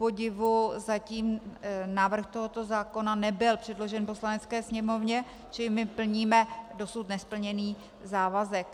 Kupodivu zatím návrh tohoto zákona nebyl předložen Poslanecké sněmovně, čili my plníme dosud nesplněný závazek.